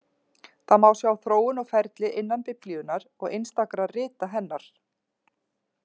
Það má sjá þróun og ferli innan Biblíunnar og einstakra rita hennar.